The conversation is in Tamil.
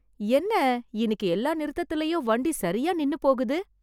என்ன இன்னிக்கு எல்லா நிறுத்தத்துலயும் வண்டி சரியா நின்னு போகுது.